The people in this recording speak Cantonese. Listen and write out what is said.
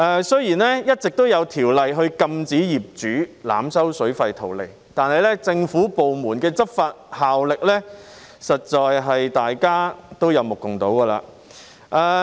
雖然一直有法例禁止業主濫收水費圖利，但政府部門的執法效力，大家實在有目共睹。